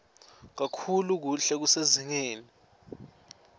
kakhulu kuhle kusezingeni